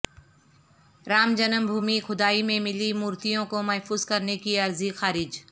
Ram Janmabhoomi کھدائی میں ملی مورتیوں کو محفوظ کرنے کی عرضی خارج